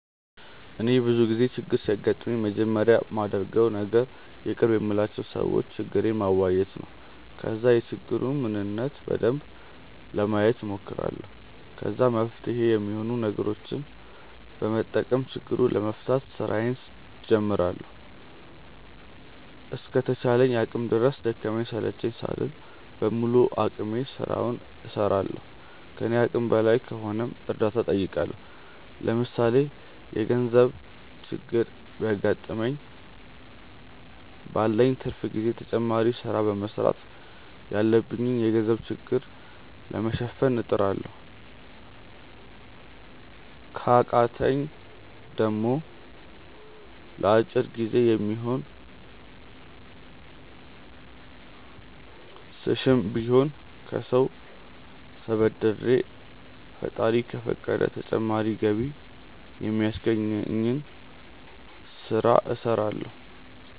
እኔ ብዙ ጊዜ ችግር ሲያጋጥመኝ መጀመሪያ ማደርገው ነገር የቅርብ የምላቸው ሰዎች ችግሬን ማዋየት ነው። ከዛ የችግሩን ምንነት በደንብ ለማየት ሞክራለሁ። ከዛ መፍትሄ ሚሆኑ ነገሮችን በመጠቀም ችግሩን ለመፍታት ስራዬን ጀምራለሁ። እስከ ተቻለኝ አቅም ድረስ ደከመኝ ሰለቸኝ ሳልል በሙሉ አቅሜ ስራውን እስራለሁ። ከኔ አቅም በላይ ከሆነም እርዳታ ጠይቃለሁ። ለምሳሌ የገርዘብ ችግር ቢያገጥመኝ ባለኝ ትርፍ ጊዜ ተጨማሪ ስራ በመስራት ያለብኝን የገንዘብ ችግር ለመሸፈን እጥራለሁ። ከቃተኝ ደሞ ለአጭር ጊዜ የሚሆን ስሽም ቢሆን ከሰው ተበድሬ ፈጣሪ ከፈቀደ ተጨማሪ ገቢ ሚያስገኘኝን ስለ እስራለሁ።